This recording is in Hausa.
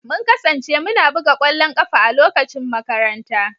Mun kasance muna buga ƙwallon ƙafa a lokacin makaranta